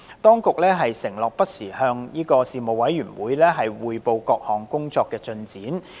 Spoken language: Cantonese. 當局承諾會不時向事務委員會匯報各項工作的進展。